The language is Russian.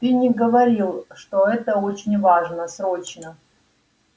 ты не говорил что это очень важно срочно